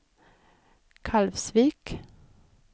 Kalvsvik